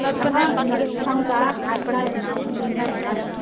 अग तुला सांगू का आजकाले ना मुलींनाय ना